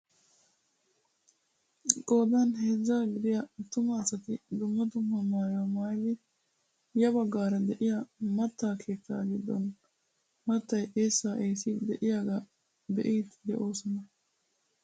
Qoodan heezzaa gidiyaaattuma asati dumma dumma maayuwaa maayidi ya baggaara de'iyaa mattaa keettaa giddon maattay eessaa eessiidi de'iyaagaa be'iidi de'oosona.